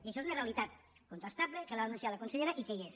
i això és una realitat contrastable que la va anunciar la consellera i que hi és